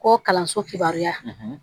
Ko kalanso kibaruya